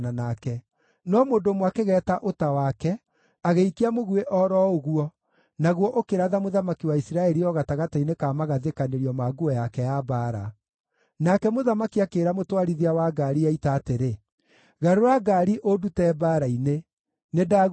No mũndũ ũmwe akĩgeeta ũta wake, agĩikia mũguĩ o ro ũguo, naguo ũkĩratha mũthamaki wa Isiraeli o gatagatĩ-inĩ ka magathĩkanĩrio ma nguo yake ya mbaara. Nake mũthamaki akĩĩra mũtwarithia wa ngaari ya ita atĩrĩ, “Garũra ngaari ũndute mbaara-inĩ. Nĩndagurario.”